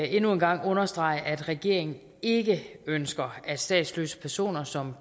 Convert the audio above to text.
endnu en gang understrege at regeringen ikke ønsker at statsløse personer som